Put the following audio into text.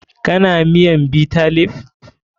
Kana miyan Bitter leaf?